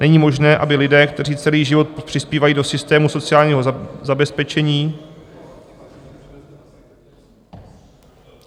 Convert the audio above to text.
Není možné, aby lidé, kteří celý život přispívají do systému sociálního zabezpečení..."